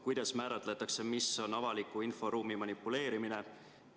Kuidas määratletakse, mis on avaliku inforuumi manipuleerimine?